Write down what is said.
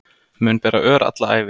Mun bera ör alla ævi